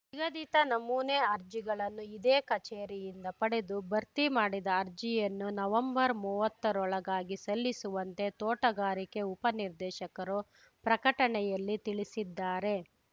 ನಿಗದಿತ ನಮೂನೆ ಅರ್ಜಿಗಳನ್ನು ಇದೇ ಕಚೇರಿಯಿಂದ ಪಡೆದು ಭರ್ತಿ ಮಾಡಿದ ಅರ್ಜಿಯನ್ನು ನವೆಂಬರ್ಮೂವತ್ತರೊಳಗಾಗಿ ಸಲ್ಲಿಸುವಂತೆ ತೋಟಗಾರಿಕೆ ಉಪ ನಿರ್ದೇಶಕರು ಪ್ರಕಟಣೆಯಲ್ಲಿ ತಿಳಿಸಿದ್ದಾರೆ